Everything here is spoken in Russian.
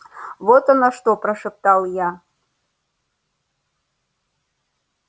вот оно что прошептал я